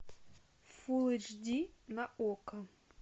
фулл эйч ди на окко